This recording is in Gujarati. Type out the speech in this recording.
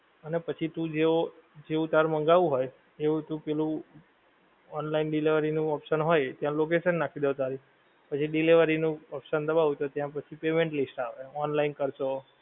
અને પછી તું જેવો, જેવુ તારે મંગાવવું હોય, એવું તું પેલું online delivery નું option હોય ત્યાં location નાંખી દેવાની તારી પછી delivery નું option દબાવ તો ત્યાં પછી payment list આવે. online કરશો.